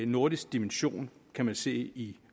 nordisk dimension kan man se i